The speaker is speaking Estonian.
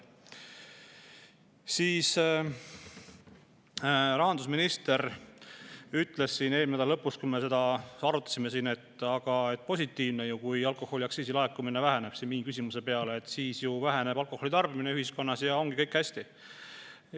Rahandusminister ütles eelmise nädala lõpus, kui me seda teemat siin arutasime, minu küsimuse peale, et see on ju positiivne, kui alkoholiaktsiisi laekumine väheneb, sest siis väheneb ka alkoholi tarbimine ühiskonnas ja ongi kõik hästi.